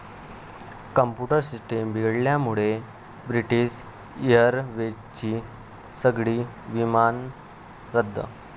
computer system बिघडल्यामुळे British एअरवेजची सगळी विमानं रद्द